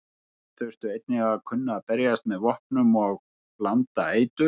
Þær þurftu einnig að kunna berjast með vopnum og blanda eitur.